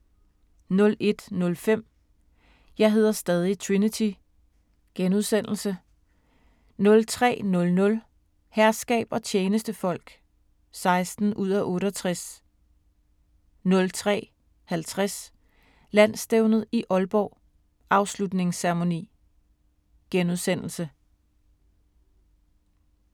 01:05: Jeg hedder stadig Trinity * 03:00: Herskab og tjenestefolk (16:68) 03:50: Landsstævnet i Aalborg: Afslutningsceremoni *